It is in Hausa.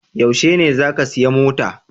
Yaushe ne za ka siya mota?